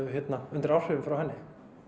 undir áhrifum frá henni